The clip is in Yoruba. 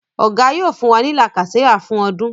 Oga yóò fún wá ní lacasera fún ọdún.